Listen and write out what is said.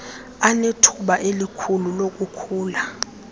anethuba elikhulu lokukhula